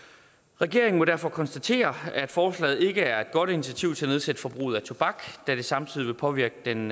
regeringen må derfor konstatere at forslaget ikke er et godt initiativ til at nedsætte forbruget af tobak da det samtidig vil påvirke den